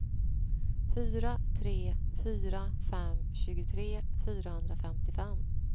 fyra tre fyra fem tjugotre fyrahundrafemtiofem